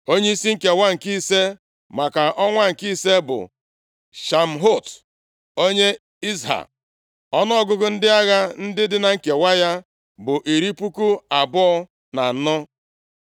Onyeisi nkewa nke ise, maka ọnwa nke ise bụ Shamhut onye Izha. Ọnụọgụgụ ndị agha dị na nkewa ya bụ iri puku abụọ na anọ (24,000).